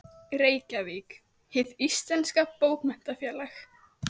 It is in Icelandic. Reykjavík: Hið íslenska bókmenntafélag.